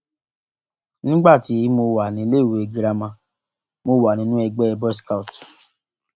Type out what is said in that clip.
nígbà tí mo wà níléèwé girama mo wà nínú ẹgbẹ boys scout